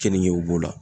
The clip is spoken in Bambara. Kenige b'o la